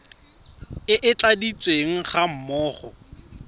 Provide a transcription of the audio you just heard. e e tladitsweng ga mmogo